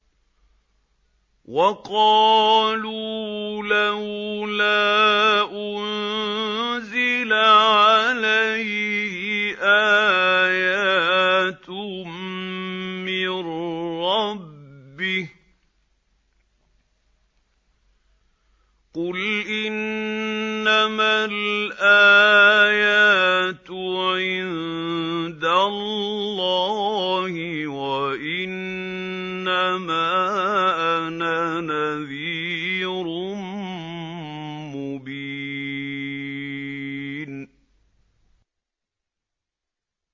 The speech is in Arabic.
وَقَالُوا لَوْلَا أُنزِلَ عَلَيْهِ آيَاتٌ مِّن رَّبِّهِ ۖ قُلْ إِنَّمَا الْآيَاتُ عِندَ اللَّهِ وَإِنَّمَا أَنَا نَذِيرٌ مُّبِينٌ